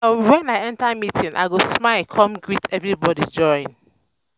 wen i enter meeting i go smile come greet everybody join.